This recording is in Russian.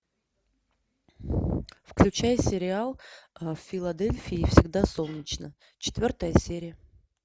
включай сериал в филадельфии всегда солнечно четвертая серия